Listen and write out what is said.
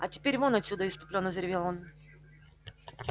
а теперь вон отсюда исступлённо заревел он